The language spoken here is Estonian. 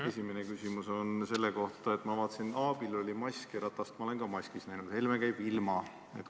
Esimene küsimus on selle kohta: ma vaatasin, et Aabil oli mask ja Ratast ma olen ka maskis näinud, aga Helme käib ilma.